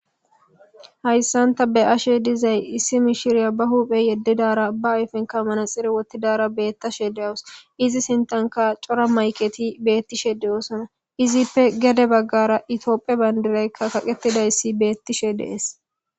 Hayssan ta be'ashe dizay issi mishiriya ba huphe yeddidara ba ayfenka manaxire wotidara beettashe de'awus izi sintanka cora mayketi beettishe de'osona izippe gede baggara itophiya bandiraykka kaqqetidayssi beettishe de'es.